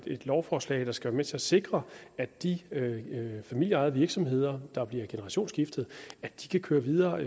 et lovforslag der skal være med til at sikre at de familieejede virksomheder der bliver generationsskiftet kan køre videre